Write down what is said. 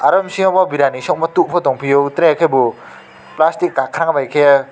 oro bisingo biryani sogmo tok bo tongpio tere ke bo plastic kakra bai kiye.